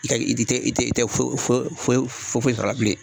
I tɛ i ti i tɛ i tɛ foyi foyi sɔrɔ a la bilen